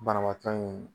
Banabaatɔ in